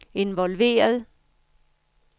involveret